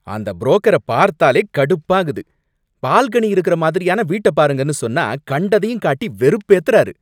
அந்த புரோக்கர பார்த்தாலே கடுப்பாகுது. பால்கனி இருக்குற மாதிரியான வீட்ட பாருங்கனு சொன்னா கண்டதையும் காட்டி வெறுப்பேத்தறாரு.